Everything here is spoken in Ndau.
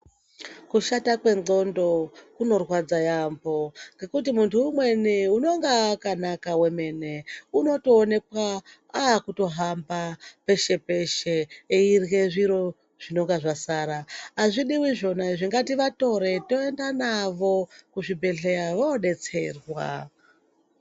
Kushata kwendxondo kunorwadza yaambo ngekuti munthu umweni unenge akanaka wemene unotoonekwa aakutohamba peshe peshe eirya zviro zvinonga zvasara azvidiwi zvona ngativatore toenda navo kuzvibhedhlera vodetserwa.